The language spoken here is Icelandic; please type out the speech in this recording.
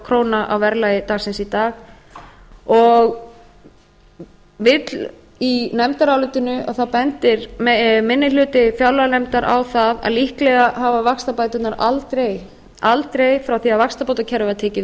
króna á verðlagi dagsins í dag í nefndarálitinu bendir minni hluti fjárlaganefndar á að líklega hafi vaxtabæturnar aldrei frá því að vaxtabótakerfið var tekið